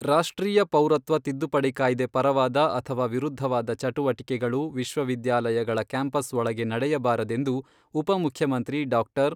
ರಾಷ್ಟ್ರೀಯ ಪೌರತ್ವ ತಿದ್ದುಪಡಿ ಕಾಯ್ದೆ ಪರವಾದ ಅಥವಾ ವಿರುದ್ಧವಾದ ಚಟುವಟಿಕೆಗಳು ವಿಶ್ವವಿದ್ಯಾಲಯಗಳ ಕ್ಯಾಂಪಸ್ ಒಳಗೆ ನಡೆಯಬಾರದೆಂದು ಉಪ ಮುಖ್ಯಮಂತ್ರಿ ಡಾ.